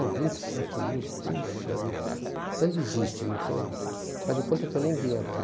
Ah, vinte e sete mil, puxa vida, então desiste, não tem, faz de conta que eu nem vim aqui.